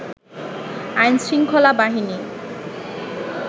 আইনশৃঙ্খলা বাহিনী